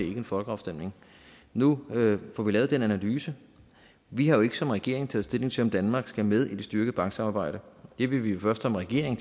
ikke en folkeafstemning nu får vi lavet den analyse vi har jo ikke som regering taget stilling til om danmark skal med i det styrkede banksamarbejde det vil vi først som regering